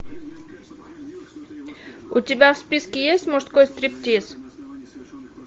у тебя в списке есть мужской стриптиз